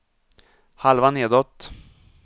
halva nedåt